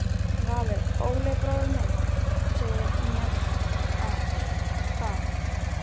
Valur: Óli bróðir minn segir mér það.